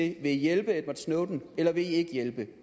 i vil hjælpe edward snowden eller vil i ikke hjælpe